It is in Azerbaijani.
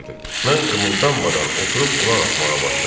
Mən qımıldanmadan oturub qulaq asmağa başladım.